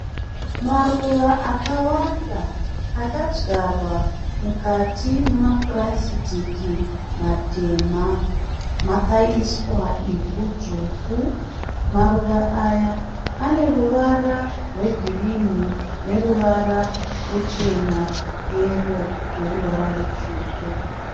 Maruwa akawanda akadyarwa mukati memapurasitiki matema. Makaiswa ivhu dzvuku. Maruva aya ane ruvara rwegirini neruvara ruchena, yero neruvara rutsvuku.